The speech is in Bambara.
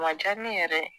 A diyara ne yɛrɛ ye